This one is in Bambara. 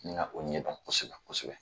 N ka o ɲɛdɔn kosɛbɛ kosɛbɛ